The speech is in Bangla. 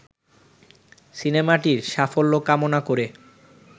সিনেমাটির সাফল্য কামনা করে